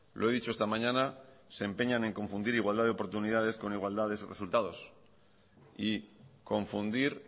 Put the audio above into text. lo he dicho esta mañana se empeñan en confundir igualdad de oportunidades con igualdad de resultados y confundir